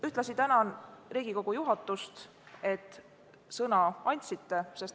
Ühtlasi tänan Riigikogu juhatust, et sõna andsite!